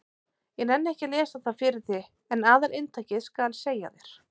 Ég nenni ekki að lesa það fyrir þig en aðalinntakið skal ég segja þér.